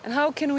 en hátíðin á